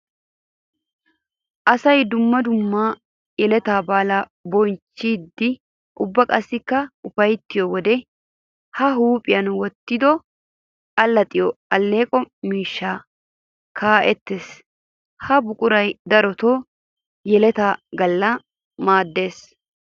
Asay dumma dumma yeletta baalla bonchchidde ubba qassikka ufayttiyo wode ba huuphphiya wottiddi alaxxiyo aleqqo miishshay kaqqettis. Ha buquray darotto yeletta gala maades.